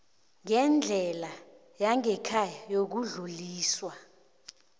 ngendlela yangekhaya yokudluliswa